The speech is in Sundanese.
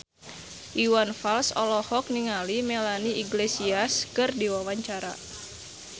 Iwan Fals olohok ningali Melanie Iglesias keur diwawancara